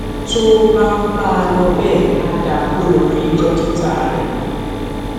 tó o bá ń bá a lọ bẹẹ á dáa kó o lọ rí dókítà rẹ